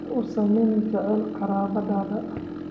Ha u samayn jacayl qaraabadaada